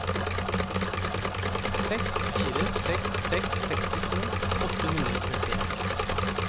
seks fire seks seks sekstito åtte hundre og trettien